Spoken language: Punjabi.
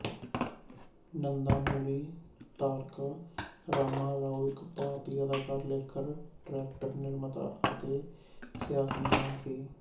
ਨੰਦਾਮੁਰੀ ਤਾਰਕਾ ਰਾਮਾ ਰਾਓ ਇੱਕ ਭਾਰਤੀ ਅਦਾਕਾਰ ਲੇਖਕ ਡਰੈਕਟਰ ਨਿਰਮਾਤਾ ਅਤੇ ਸਿਆਸਤਦਾਨ ਸੀ